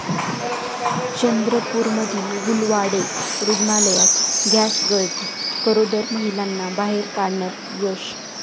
चंद्रपूरमधील गुलवाडे रुग्णालयात गॅसगळती, गरोदर महिलांना बाहेर काढण्यात यश